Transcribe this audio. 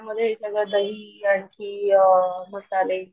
दही आणखी मसाले